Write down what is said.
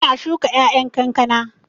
Ina shuka ƴaƴan kankana